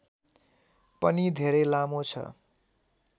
पनि धेरै लामो छ